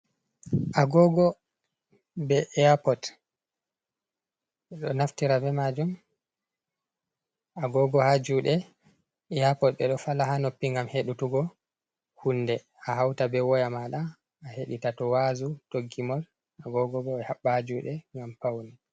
Agogo be eyapod ɓeɗo naftira be majum agogo ha juɗe eyapod ɓeɗo fala ha noppi ngam hedituggo hunde a hauta be woya maɗa ahedita to wazu, to gimol. Agogo bo ɓe haɓɓa ha juɗe ngam pawne.